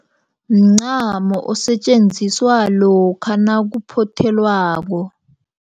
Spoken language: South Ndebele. Mncamo osetjenziswa lokha nakuphothelwako.